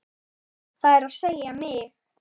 Það er að segja mig.